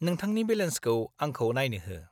-नोंथांनि बेलेन्सखौ आंखौ नायनो हो।